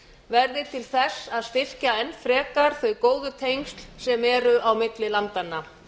verði til þess að styrkja enn frekar þau góðu tengsl sem eru á milli landanna